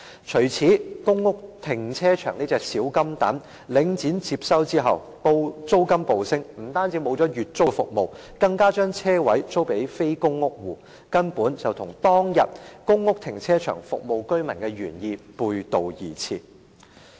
除此之外，公屋停車場這隻小金蛋在領展接收後租金暴升，不但取消了月租服務，更將車位租予非公屋戶，根本與當天公屋停車場服務居民的原意背道而馳。